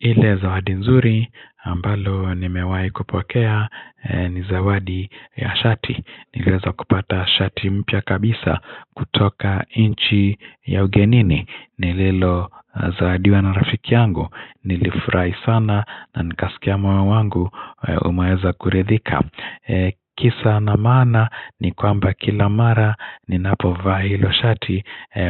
Ile zawadi nzuri ambalo ni mewahi kupokea ni zawadi ya shati. Niliweza kupata shati mpya kabisa kutoka nchi ya ugenini. Ni lelo zawadiwa na rafiki yangu. Nilifurahi sana na nikasikia moyo wangu umeweza kuridhika. Kisa na maana ni kwamba kila mara ni napo vaa hilo shati.